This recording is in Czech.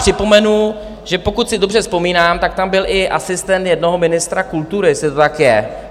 Připomenu, že pokud si dobře vzpomínám, tak tam byl i asistent jednoho ministra kultury, jestli to tak je.